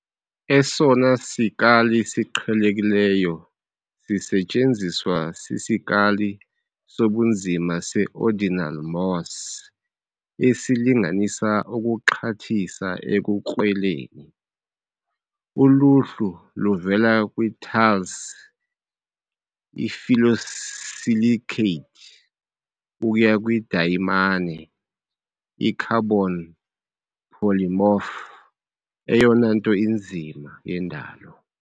Esona sikali siqhelekileyo sisetyenziswa sisikali sobunzima se-ordinal Mohs, esilinganisa ukuxhathisa ekukrweleni. Uluhlu luvela kwi-talc, i-phyllosilicate, ukuya kwidayimane, i-carbon polymorph eyona nto inzima yendalo.